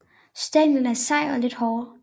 Stænglen er sej og lidt håret